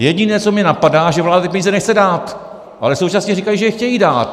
Jediné, co mě napadá, že vláda ty peníze nechce dát, ale současně říkají, že je chtějí dát.